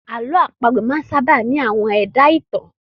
Àlọ́ àpagbè máa sábà ní àwọn ẹ̀dá-ìtàn